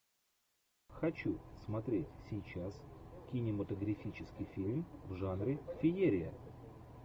хочу смотреть сейчас кинематографический фильм в жанре феерия